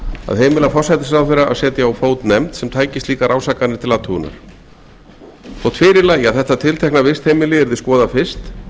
að heimila forsætisráðherra að setja á fót nefnd sem tæki slíkar ásakanir til athugunar þótt fyrir lægi að þetta tiltekna vistheimili yrði skoðað fyrst